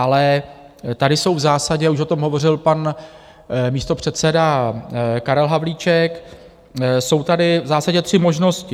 Ale tady jsou v zásadě, už o tom hovořil pan místopředseda Karel Havlíček, jsou tady v zásadě tři možnosti.